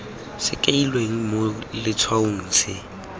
se kailweng mo letshwaong se